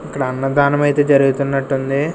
అక్కడ అన్నదానమయితే జరుగుతున్నట్టుంది.